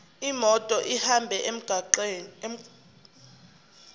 imoto ihambe emgwaqweni